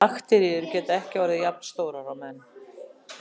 Bakteríur geta ekki orðið jafnstórar og menn.